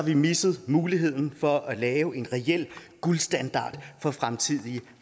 vi misset muligheden for at lave en reel guldstandard for fremtidige